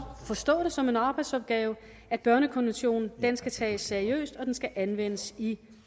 forstå det som en arbejdsopgave at børnekonventionen skal tages seriøst og at den skal anvendes i